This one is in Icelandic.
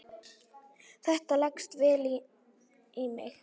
Þetta leggst vel í mig.